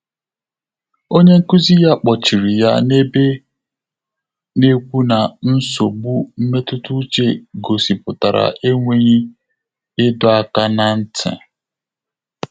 Ọ́nyé nkụ́zí yá kpọ́chìrì yá n’èbè, nà-ékwú nà nsógbú mmétụ́tà úchè gọ́sị́pụ́tàrà énwéghị́ ị́dọ́ áká n’á ntị́.